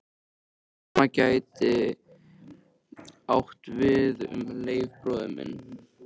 Það sama gæti átt við um Leif bróður minn.